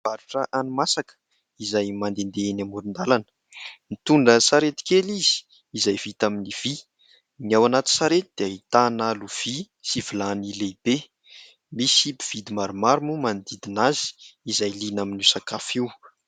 Mpivarotra hani-masaka izay mandehandeha eny amoron-dalana. Mitondra sarety kely izy izay vita amin'ny vy. Ny ao anaty sarety dia ahitana lovia sy vilany lehibe. Misy mpividy maromaro moa manodidina azy izay liana amin'io sakafo io.